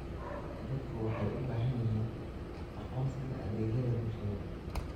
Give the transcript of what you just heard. Dadku waxay u baahan yihiin aqoonsiga adeegyada bulshada.